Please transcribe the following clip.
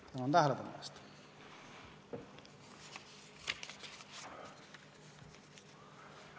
Tänan tähelepanu eest!